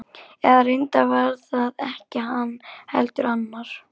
Eða reyndar var það ekki hann, heldur annar.